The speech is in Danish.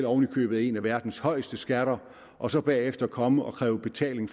oven i købet en af verdens højeste skatter og så bagefter komme og opkræve betaling